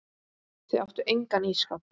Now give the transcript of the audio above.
Þau áttu engan ísskáp.